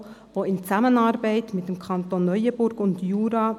Er versorgt den Berner Jura in Zusammenarbeit mit den Kantonen Neuenburg und Jura.